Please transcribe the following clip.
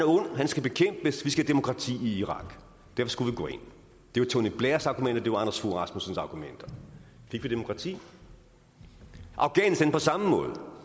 ond han skal bekæmpes vi skal have demokrati i irak derfor skulle vi gå ind det var tony blairs argumenter det var anders fogh rasmussens argumenter fik vi demokrati afghanistan på samme måde